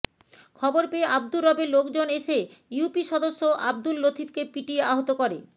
খবর পেয়ে আব্দুর রবের লোকজন এসে ইউপি সদস্য আবদুল লতিফকে পিটিয়ে আহত করে